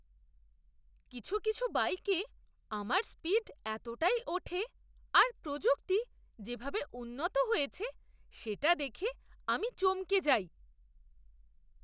কিছু কিছু বাইকে আমার স্পিড এতটাই ওঠে আর প্রযুক্তি যেভাবে উন্নত হয়েছে সেটা দেখে আমি চমকে যাই!